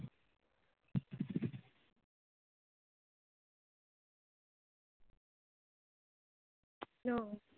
hello